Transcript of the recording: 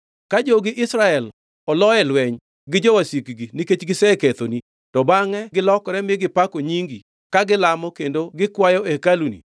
“Ka jogi Israel olo e lweny gi jowasikgi nikech gisekethoni, to bangʼe gilokore mi gipako nyingi, ka gilamo kendo gikwayo e hekaluni,